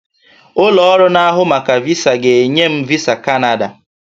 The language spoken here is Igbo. Ụlọ ọrụ na-ahụ maka VISA ga-enye m VISA Kanada